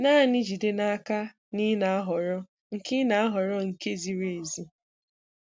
Naanị jide naka na ị na-ahọrọ nke ị na-ahọrọ nke ziri ezi!